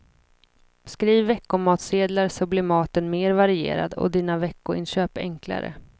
Skriv veckomatsedlar så blir maten mer varierad och dina veckoinköp enklare.